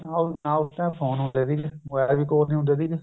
ਨਾ ਨਾ ਉਸ time phone ਹੁੰਦੇ ਸੀਗੇ mobile ਵੀ ਕੋਲ ਨੀ ਹੁੰਦੇ ਸੀਗੇ